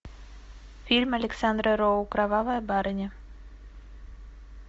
фильм александра роу кровавая барыня